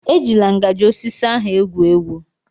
E jila ngajị osisi ahụ egwu egwu.